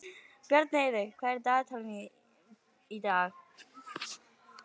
Bjarnheiður, hvað er á dagatalinu í dag?